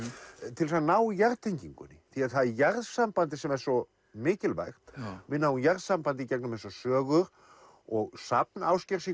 til þess að ná jarðtengingunni því það er jarðsambandið sem er svo mikilvægt við náum jarðsambandi í gegnum þessar sögur og safn Ásgeirs í